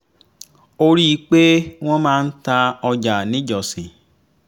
ó rí i pé wọ́n máa ń ta ọjà níjọsìn